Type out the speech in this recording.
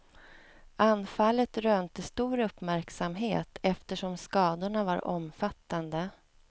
Anfallet rönte stor uppmärksamhet eftersom skadorna var omfattande.